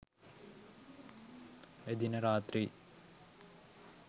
එදින රාත්‍රි